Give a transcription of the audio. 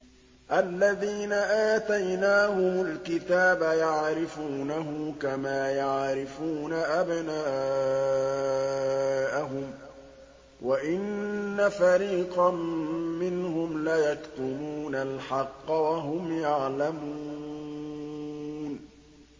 الَّذِينَ آتَيْنَاهُمُ الْكِتَابَ يَعْرِفُونَهُ كَمَا يَعْرِفُونَ أَبْنَاءَهُمْ ۖ وَإِنَّ فَرِيقًا مِّنْهُمْ لَيَكْتُمُونَ الْحَقَّ وَهُمْ يَعْلَمُونَ